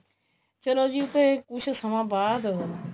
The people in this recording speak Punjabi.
ਚਲੋ ਜੀ ਫ਼ੇਰ ਕੁੱਛ ਸਮਾ ਬਾਅਦ